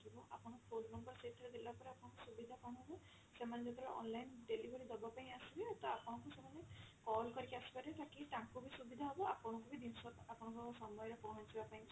ଆପଣଙ୍କ ସୁବିଧା କଣ ହବ ସେମାନେ ଯେତେବେଳେ online delivery ଦବା ପାଇଁ ଆସିବେ ତ ଆପଣଙ୍କୁ ସେମାନେ call କରିକି ଆସିପାରିବେ ତାକି ତାଙ୍କୁ ବି ସୁବିଧା ହବ ଆପଣଙ୍କୁ ବି ଜିନିଷ ଆପଣଙ୍କ ସମୟ ରେ ପହଞ୍ଚିବା ପାଇଁ ସୁବିଧା